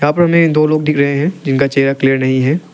ऊपर में दो लोग दिख रहे है जिनका चेहरा क्लियर नहीं है।